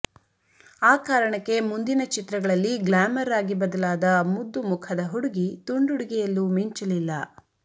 ಆ ಕಾರಣಕ್ಕೆ ಮುಂದಿನ ಚಿತ್ರಗಳಲ್ಲಿ ಗ್ಲಾಮರ್ ಆಗಿ ಬದಲಾದ ಮುದ್ದು ಮುಖದ ಹುಡುಗಿ ತುಂಡುಡಿಗೆಯಲ್ಲೂ ಮಿಂಚಲಿಲ್ಲ